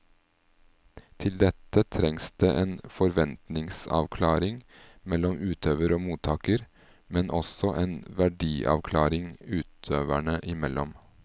Til dette trengs det en forventningsavklaring mellom utøver og mottaker, men også en verdiavklaring utøverne imellom.